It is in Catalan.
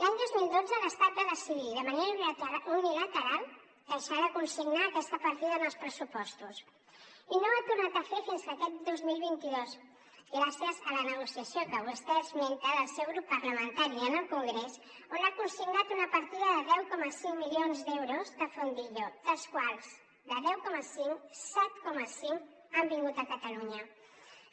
l’any dos mil dotze l’estat va decidir de manera unilateral deixar de consignar aquesta partida en els pressupostos i no ho ha tornat a fer fins aquest dos mil vint dos gràcies a la negociació que vostè esmenta del seu grup parlamentari en el congrés on ha consignat una partida de deu coma cinc milions d’euros de fondillo dels quals set coma cinc han vingut a catalunya